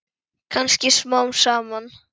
Kannski smám saman.